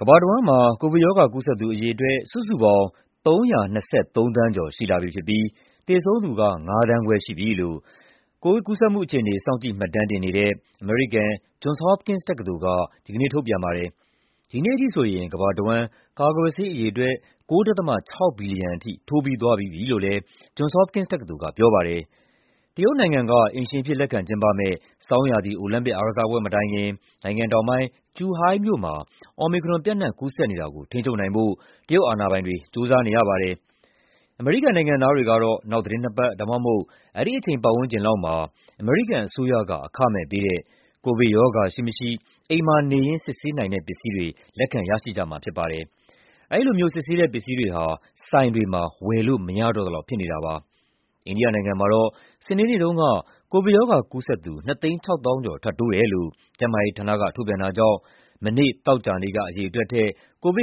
ကမ္ဘာတဝန်းမှာ ကိုဗစ်ရောဂါ ကူးစက်သူ အရေအတွက် စုစုပေါင်း ၃၂၃ သန်းကျော် ရှိနေပြီး သေဆုံးသူ ၅ သန်းခွဲရှိပြီလို့ စောင့်ကြည့်မှတ်တမ်းတင်နေတဲ့ အမေရိကန် Johns Hopkins တက္ကသိုလ်က ဒီကနေ့ ထုတ်ပြန်ပါတယ်။ ဒီနေ့ထိဆိုရင် ကမ္ဘာတဝန်း ကာကွယ်ဆေးအရေအတွက် ၉ ဒသမ ၆ ဘီလီယံ ထိုးပြီးသွားပြီးပြီလို့လည်း Johns Hopkins တက္ကသိုလ်က ပြောပါတယ်။ တရုတ်နိုင်ငံက အိမ်ရှင်အဖြစ် လက်ခံကျင်းပမယ့် ဆောင်းရာသီအိုလံပစ် အားကစားပွဲမတိုင်ခင် နိုင်ငံတောင်ပိုင်း Zhuhai မြို့မှာ Omicron ပျံ့နှံ့ကူးစက်နေတာကို ထိန်းချုပ်နိုင်ဖို့ အာဏာပိုင်တွေ ကြိုးစားနေရပါတယ်။ အမေရိကန်နိုင်ငံသားတွေဟာ နောက်သီတင်းနှစ်ပတ် ဒါမှမဟုတ် အဲဒီအချိန် ပတ်ဝန်းကျင်လောက်မှာ အမေရိကန်အစိုးရက အခမဲ့ပေးတဲ့ ကိုဗစ်ရောဂါရှိမရှိ အိမ်မှာ စစ်ဆေးတဲ့ ပစ္စည်းတွေ လက်ခံရရှိကြမှာ ဖြစ်ပါတယ်။ အဲဒီစစ်ဆေးတဲ့ ပစ္စည်းတွေဟာ ဆိုင်တွေမှာ ဝယ်လို့မရတော့သလောက် ဖြစ်နေတာပါ။ အိန္ဒိယနိုင်ငံမှာ စနေနေ့က ကိုဗစ်ရောဂါကူးစက်သူ ၂၆၀,၀၀၀ ကျော် ထပ်တိုးတယ်လို့ ကျန်းမာရေးဌာနက ထုတ်ပြန်တာကြောင့် သောကြာနေ့က အရေအတွက်ထက် ၄,၆၀၀ ကျော်